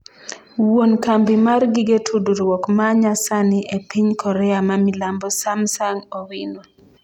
wuon kambi mar gige tudruok manya sani e piny korea ma Milambo Samsung Owino